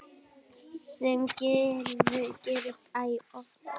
Sem gerist æ oftar.